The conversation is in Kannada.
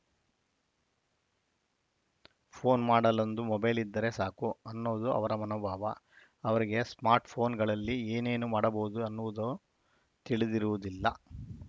ಫೋನ್‌ ಮಾಡಲೊಂದು ಮೊಬೈಲ್‌ ಇದ್ದರೆ ಸಾಕು ಅನ್ನೋದು ಅವರ ಮನೋಭಾವ ಅವರಿಗೆ ಸ್ಮಾರ್ಟ್‌ಫೋನ್‌ಗಳಲ್ಲಿ ಏನೇನು ಮಾಡಬಹುದು ಅನ್ನುವುದು ತಿಳಿದಿರುವುದಿಲ್ಲ